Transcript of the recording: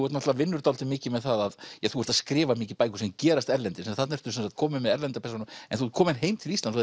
náttúrulega vinnur dálítið mikið með það þú ert að skrifa mikið bækur sem gerast erlendis þarna ertu kominn með erlenda persónu en þú ert kominn heim til Íslands